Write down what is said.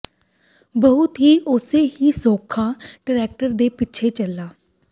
ਬਹੁਤ ਹੀ ਉਸੇ ਹੀ ਸੌਖਾ ਟਰੈਕਟਰ ਦੇ ਪਿੱਛੇ ਚਲਾ